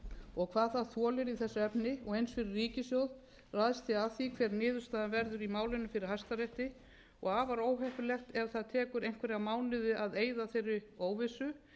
og hvað það þolir í þessu efni og eins fyrri ríkissjóð ræðst því af því hver niðurstaðan verður í málinu fyrir hæstarétti og afar óheppilegt ef það tekur einhverja mánuði að eyða þeirri óvissu